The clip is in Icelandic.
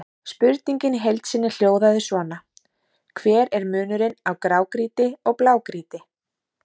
Spurningin í heild sinni hljóðaði svona: Hver er munurinn á grágrýti og blágrýti?